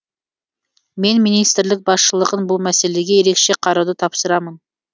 мен министрлік басшылығын бұл мәселеге ерекше қарауды тапсырамын